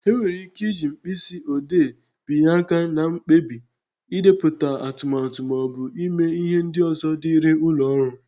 E nwere ị́ké ịji mkpịsị odee bibye áká na mkpebi, n'idepụta atụmatụ maọbụ ịme ihe ndị ọzọ dịrị ụlọ ọrụ.